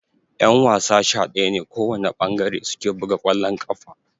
Ƴan-wasa sha daya ne kowana ɓangare suke buga kwallon ƙafa.